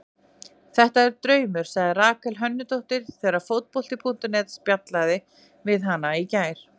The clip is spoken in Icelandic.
Þetta er draumur, sagði Rakel Hönnudóttir þegar Fótbolti.net spjallaði við hana í gær.